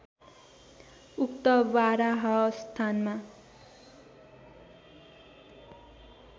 उक्त बारह स्थानमा